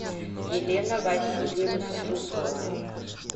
елена васильевна жукова